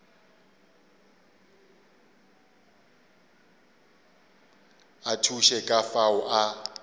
a thuše ka fao a